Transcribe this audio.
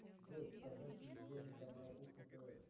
джой показать телевизионный канал кухня тв